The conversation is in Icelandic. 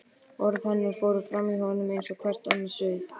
Orð hennar fóru framhjá honum eins og hvert annað suð.